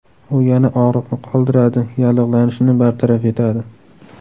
U yana og‘riqni qoldiradi, yallig‘lanishni bartaraf etadi.